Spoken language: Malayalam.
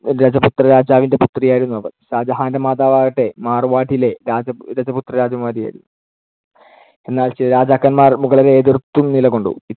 രജപുത്രരാജാവിന്‍ടെ പുത്രിയായിരുന്നു അവർ. ഷാജഹാനിന്‍ടെ മാതാവാകട്ടെ, മാർ‌വാഡിലെ രാജപു~ രജപുത്രരാജകുമാരിയുമായിരുന്നു. എന്നാൽ ചില രാജാക്കന്മാർ മുഗളരെ എതിർത്തും നിലകൊണ്ടു.